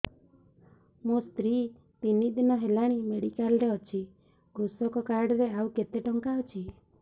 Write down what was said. ମୋ ସ୍ତ୍ରୀ ତିନି ଦିନ ହେଲାଣି ମେଡିକାଲ ରେ ଅଛି କୃଷକ କାର୍ଡ ରେ ଆଉ କେତେ ଟଙ୍କା ଅଛି